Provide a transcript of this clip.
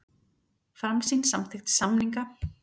Framsýn samþykkti samninga